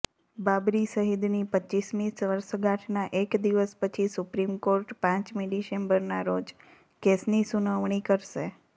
બાબરી શહીદની રપમી વર્ષગાંઠના એક દિવસ પછી સુપ્રીમકોર્ટ પમી ડિસેમ્બરના રોજ કેસની સુનાવણી કરશે